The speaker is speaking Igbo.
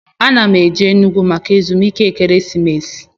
A na m eje Enugwu maka ezumike ekeresimesi